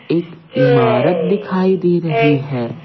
एक इमारत दिखाई दे रही है।